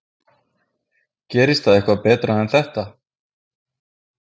Gerist það eitthvað betra en þetta?